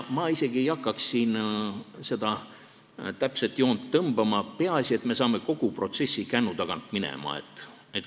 Ma isegi ei hakkaks siin seda täpset joont tõmbama, peaasi, et me saame protsessi kännu tagant minema.